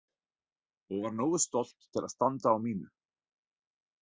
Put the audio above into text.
Og var nógu stolt til að standa á mínu.